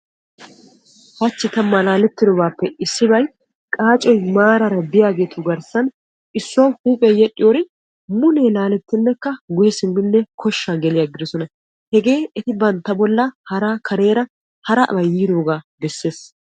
Hachchi ta malaalettidobappe issibbay qaacoy maarara de'iyagettu garssan issuwa huuphiya yedhdhin mule laalettiddi guye simmiddi kosha geliddosonna. Hegee bantta bolla harabay yiidoga beeses.